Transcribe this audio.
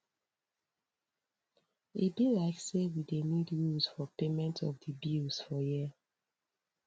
e be like sey we dey need rules for payment of di bills for here